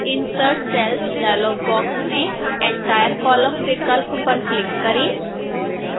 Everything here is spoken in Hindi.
insert cells dialog box में entire column विकल्प पर click करें